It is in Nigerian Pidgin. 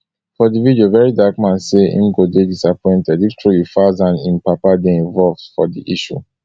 for di video very dark man say im go dey disappointed if truly falz and im papa dey involved for di issue